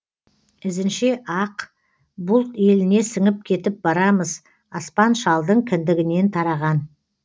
ізінше ақ бұлт еліне сіңіп кетіп барамыз аспан шалдың кіндігінен тараған